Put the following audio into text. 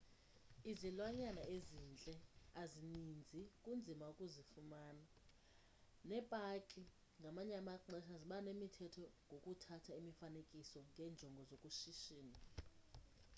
izilwanyana ezintle azininzi kunzima ukuzifumana, neepaki ngamanye amaxesha ziba nemithetho ngokuthatha imifaanekiso ngenjongo zokushishina